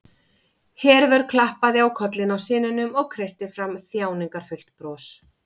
Hervör klappaði á kollinn á syninum og kreisti fram þjáningarfullt bros.